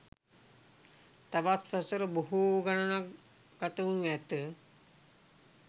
තවත් වසර බොහෝ ගණනක් ගතවෙනු ඇත